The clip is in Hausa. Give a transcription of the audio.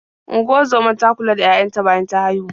Unguzomar ta kula da yaya ta bayan ta haihu.